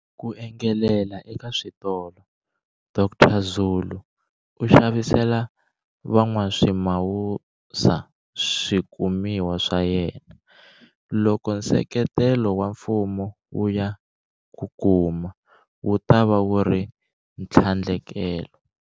Ku engelela eka switolo, Dr Zulu u xavisela van'waswimawusa swikumiwa swa yena. Loko nseketelo wa mfumo wu ya ku kuma, wu tava wu ri ntlhandlekelo.